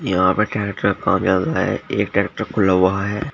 यहां पे ट्रैक्टर कामयाब रहा है एक ट्रैक्टर खुला हुआ है।